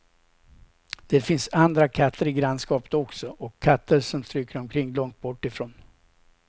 Det finns andra katter i grannskapet också, och katter som stryker omkring långt bortifrån.